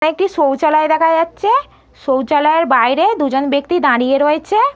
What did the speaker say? একটি শৌচালয় দেখা যাচ্ছে। শৌচালয়ের বাইরে দুজন ব্যাক্তি দাঁড়িয়ে রয়েছে।